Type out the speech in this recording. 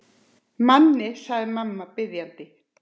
Manni, segir mamma biðjandi.